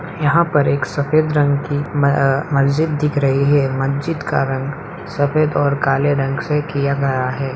यहाँ पर एक सफ़ेद रंग की मस्जिद दिख रही है मस्जिद का रंग सफ़ेद और काले रंग से किया गया हैं ।